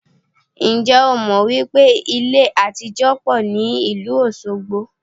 Ǹjẹ́ o mọ̀ wípé ilé àtijó pọ̀ ní ìlú Osogbo?